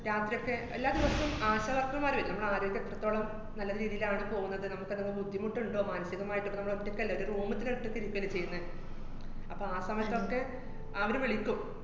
രാത്രിയൊക്കെ എല്ലാ ദിവസോം ആശാ വര്‍ക്കര്‍മാര് വരും, നമ്മടെ ആരോഗ്യം എത്രത്തോളം നല്ല രീതിയിലാണ് പോവുന്നത്, നമുക്ക് അതുകൊണ്ട് ബുദ്ധിമുട്ടുണ്ടോ, മാനസികമായിട്ട് അപ്പ നമ്മള് ഒറ്റയ്ക്കല്ലേ, ഒരു room ഇതന്നെ ഒറ്റയ്ക്ക് ഇരിക്കുവല്ലേ ചെയ്യുന്നെ. അപ്പ ആ സമയത്തൊക്കെ അവര് വിളിക്കും.